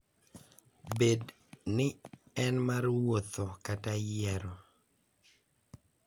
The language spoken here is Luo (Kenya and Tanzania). Bed ni en mar wuotho kata yiero.